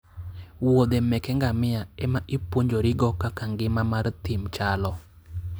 wuodhe meke ngamia ema ipuonjori go kaka ngima mar thim chalo